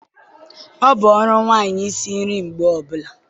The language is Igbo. Ọ bụ ọrụ nwanyị isi nri mgbe ọbula